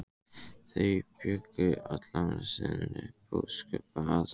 Þau bjuggu allan sinn búskap að